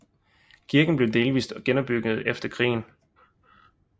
Kirken blev delvist genopbygget efter krigen